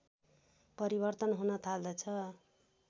परिवर्तन हुन थाल्दछ